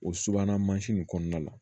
O subahana mansin nin kɔnɔna la